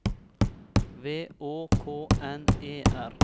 V Å K N E R